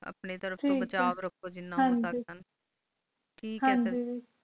ਆਪਣੀ ਤਰਫ ਤੋਂ ਬਚਾਓ ਰੱਖੋ ਜਿਨ੍ਹਾਂ ਹੋ ਸਕਦਾ ਆਏ ਹਨ ਗਿ